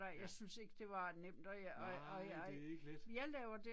Ja. Nej det er ikke let